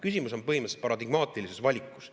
Küsimus on põhimõtteliselt paradigmaatilises valikus.